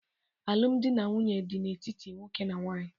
Alụmdi na nwunye na-adị n'etiti nwoke na nwaanyị.